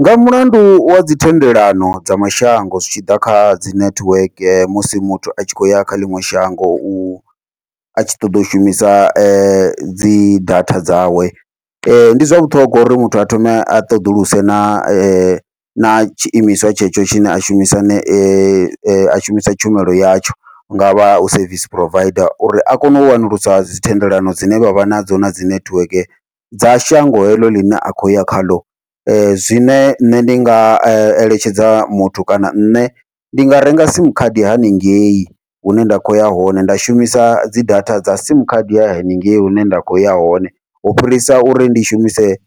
Nga mulandu wa dzi thendelano dza mashango zwitshiḓa kha dzi nethiweke, musi muthu a tshi khou ya kha ḽiṅwe shango u a tshi ṱoḓa u shumisa app dzi data dzawe, ndi zwa vhuṱhongwa uri muthu a thome a ṱhoḓuluse na na tshiimiswa tshetsho tshine a shumisa a shumisa tshumelo yatsho, hungavha hu service provider uri a kone u wanulusa dzi thendelano dzine vha vha nadzo nadzi nethiweke dza shango heḽo ḽine a khou ya khaḽo. Zwine nṋe ndi nga eletshedza muthu kana nṋe ndi nga renga sim khadi haningei hune nda khoya hone nda shumisa dzi data dza sim khadi haningei hune nda kho ya hone, u fhirisa uri ndi shumise